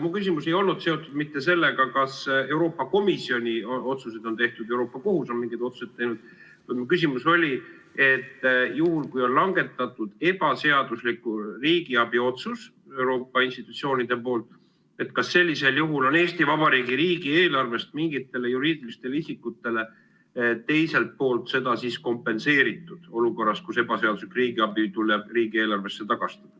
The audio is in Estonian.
Mu küsimus ei olnud seotud mitte sellega, kas Euroopa Komisjonis on otsuseid tehtud või kas Euroopa Kohus on mingeid otsuseid teinud, vaid mu küsimus oli, et juhul, kui Euroopa institutsioonid on langetanud ebaseadusliku riigiabi otsuse, siis kas sellisel juhul on Eesti Vabariigi riigieelarvest mingitele juriidilistele isikutele seda kompenseeritud, olukorras, kus ebaseaduslik riigiabi tuleb riigieelarvesse tagastada.